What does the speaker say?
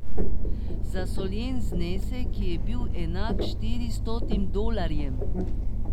Zasoljen znesek, ki je bil enak štiristotim dolarjem.